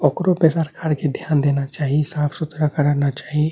ओकरो ध्यान देना चाही साफ़-सुथरा करना चाही |